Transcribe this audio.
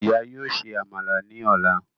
Ìyá yóò ṣe Àmàlà ní ọla